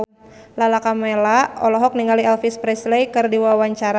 Lala Karmela olohok ningali Elvis Presley keur diwawancara